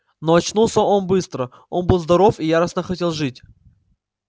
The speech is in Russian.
но очнулся он быстро он был здоров и яростно хотел жить